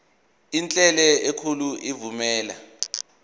enhle enkulu evumela